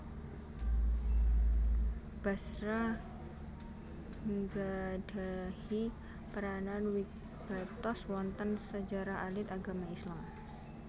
Basra nggadhahi peranan wigatos wonten sejarah alit agama Islam